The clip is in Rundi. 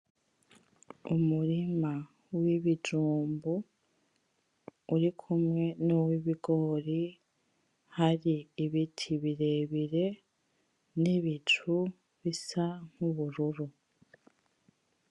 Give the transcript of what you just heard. Umurima wibijumbu urikumwe nuwibigore hari ibiti birebire nibicu bisa nkubururu.